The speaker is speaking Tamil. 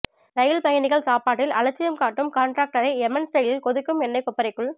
ரயில் பயணிகள் சாப்பாட்டில் அலட்சியம் காட்டும் காண்டிராக்டரை எமன் ஸ்டைலில் கொதிக்கும் எண்ணைக் கொப்பரைக்குள்